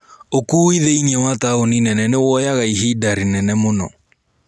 ukui thĩini wa taũni nene nĩwoyaga ihinda rĩnene mũno